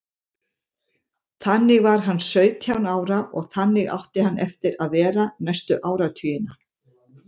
Þannig var hann sautján ára og þannig átti hann eftir að vera næstu áratugina.